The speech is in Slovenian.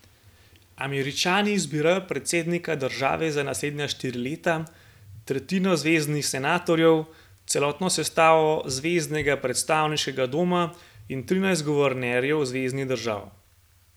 Američani izbirajo predsednika države za naslednja štiri leta, tretjino zveznih senatorjev, celotno sestavo zveznega predstavniškega doma in trinajst guvernerjev zveznih držav.